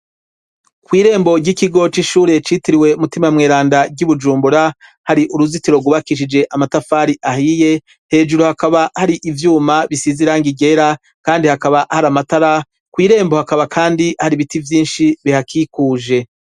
Kw'irembo ry'ikigo c'ishure citiriwe Mutima Mweranda ry'i Bujumbura, hari uruzitiro rwubakishije amatafari ahiye; hejuru hakaba hari ivyuma bisize irangi ryera, kandi hakaba hari amatara; Kw' irembo hakaba kandi hari ibiti vyinshi bihakikuje.